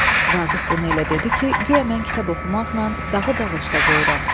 Vaqif bunu elə dedi ki, guya mən kitab oxumaqla dağı dağışda qoyuram.